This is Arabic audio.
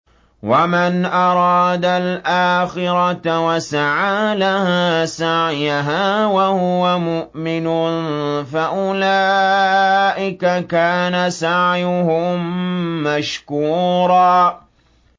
وَمَنْ أَرَادَ الْآخِرَةَ وَسَعَىٰ لَهَا سَعْيَهَا وَهُوَ مُؤْمِنٌ فَأُولَٰئِكَ كَانَ سَعْيُهُم مَّشْكُورًا